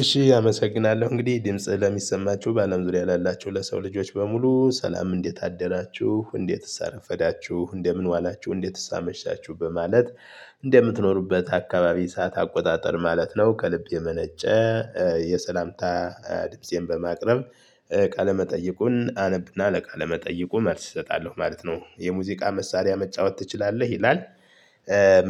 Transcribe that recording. እሺ አመሰግናለሁ እንግዲህ ድምፄ ለሚሰማችሁ በአለም ዙሪያ ላላችሁ ለሰው ልጆች በሙሉ ሰላም እንዴት አደራችሁ እንዴትስ አረፈዳችሁ እንደምን ዋላችሁ እንዴትስ አመሻችሁበት ማለት እንደምትኖሩበት አካባቢ ሰዓት አቆጣጠር ማለት ነው ከልብ የመነጨ የሰላምታ ድምፄን በማቅረብ ቃለ መጠይቁን አነብና ለቃለ መጠይቁ መልስ እሰጣለሁ ማለት ነው። የሙዚቃ መሳሪያ መጫወት ትችላለህ ይላል?